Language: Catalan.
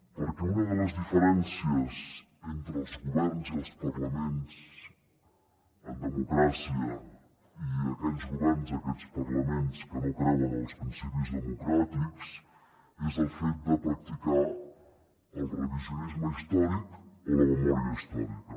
perquè una de les diferències entre els governs i els parlaments en democràcia i aquells governs aquells parlaments que no creuen en els principis democràtics és el fet de practicar el revisionisme històric o la memòria històrica